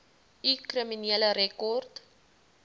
u kriminele rekord